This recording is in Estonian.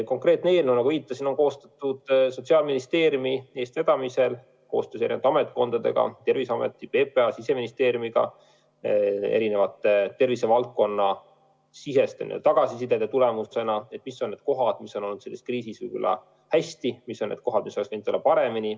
Konkreetne eelnõu, nagu ma viitasin, on koostatud Sotsiaalministeeriumi eestvedamisel koostöös eri ametkondadega – Terviseameti, PPA, Siseministeeriumiga –rohke tervisevaldkonnasisese tagasiside tulemusena: mis on need kohad, mis on selles kriisis hästi lahendatud, ja mis on need kohad, mis oleks võinud olla paremini lahendatud.